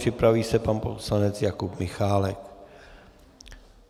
Připraví se pan poslanec Jakub Michálek.